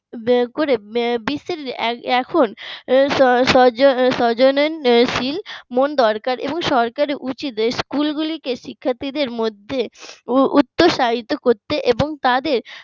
ব্যবহার করে বিশ্বের এখন দরকার সরকারের উচিত school গুলিকে শিক্ষার্থীদের মধ্যে উৎসাহিত করতে এবং তাদের